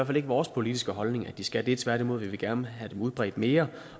fald ikke vores politiske holdning at de skal det tværtimod vil vi gerne have dem udbredt mere